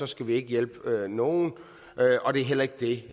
skal vi ikke hjælpe nogen og det er heller ikke det